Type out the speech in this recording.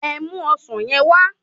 Ẹ mu ọsán yen wá